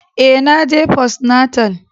Eh, na je postnatal.